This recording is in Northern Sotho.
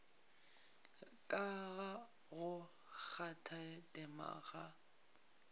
ka ga go kgathatema ga